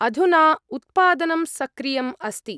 अधुना उत्पादनं सक्रियम् अस्ति।